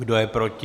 Kdo je proti?